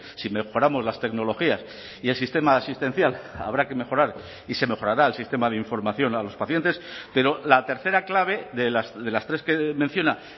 si mejoramos las tecnologías y el sistema asistencial habrá que mejorar y se mejorará el sistema de información a los pacientes pero la tercera clave de las tres que menciona